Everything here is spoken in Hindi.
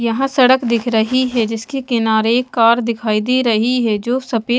यहां सड़क दिख रही है जिसके किनारे एक कार दिखाई दे रही है जो सफे--